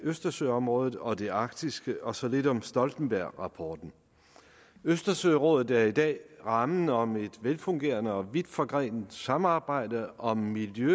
østersørådet og det arktiske og så lidt om stoltenbergrapporten østersørådet er i dag rammen om et velfungerende og vidt forgrenet samarbejde om miljø